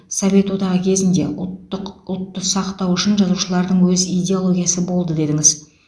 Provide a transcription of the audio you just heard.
совет одағы кезінде ұлттық ұлтты сақтау үшін жазушылардың өз идеологиясы болды дедіңіз